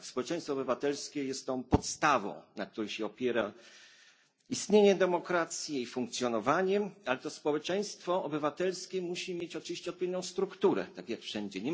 Tak społeczeństwo obywatelskie jest tą podstawą, na której się opiera istnienie demokracji, jej funkcjonowanie, ale to społeczeństwo obywatelskie musi mieć oczywiście odpowiednią strukturę, tak jak wszędzie.